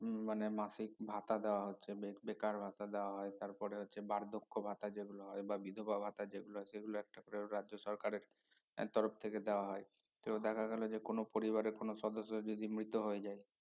হম মানে মাসিক ভাতা দেয়া হচ্ছে বে~বেকার ভাতা দেওয়া হয় তারপরে হচ্ছে বার্ধক্য ভাতা যেগুলো হয় বা বিধবা ভাতা যেগুলা আছে সেগুলা একটা করে রাজ্য সরকারের তরফ থেকে দেয়া হয় তো দেখা গেল যে কোনো পরিবারের কোনো সদস্য যদি মৃত হয়ে যায়